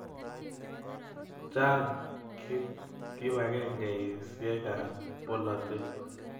Chang' kipakengeisyek ap polotet